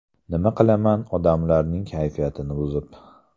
Nima qilaman odamlarning kayfiyatini buzib.